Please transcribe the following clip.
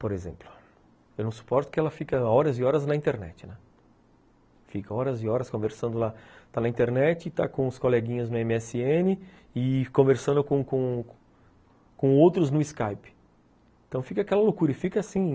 por exemplo eu não suporto que ela fica horas e horas na internet, né, fica horas e horas conversando lá está na internet, está com os coleguinhas no eme esse ene conversando com com com outros no Skype então fica aquela loucura e fica assim